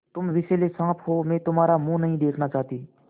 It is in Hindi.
तुम विषैले साँप हो मैं तुम्हारा मुँह नहीं देखना चाहती